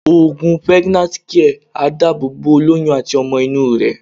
Òògùn Pregnant Care máa dábò bo ólóyún àti ọmọ inú rẹ̀.